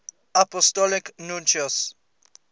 apostolic nuncios